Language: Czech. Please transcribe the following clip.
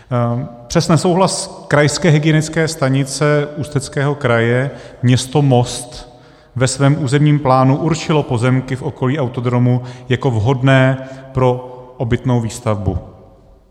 Přes nesouhlas Krajské hygienické stanice Ústeckého kraje město Most ve svém územním plánu určilo pozemky v okolí autodromu jako vhodné pro obytnou výstavbu.